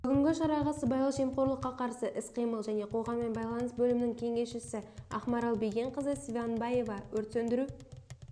бүгінгі шараға сыбайлас жемқорлыққа қарсы іс-қимыл және қоғаммен байланыс бөлімінің кеңесшісі ақмарал бегенқызы сванбаева өрт сөндіру